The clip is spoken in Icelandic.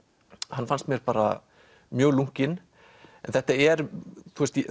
hann fannst mér bara mjög lunkinn þetta er